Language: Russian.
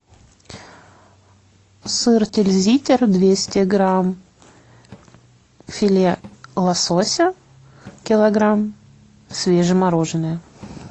сыр тильзитер двести грамм филе лосося килограмм свежемороженое